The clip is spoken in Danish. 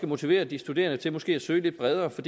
motivere de studerende til måske at søge lidt bredere for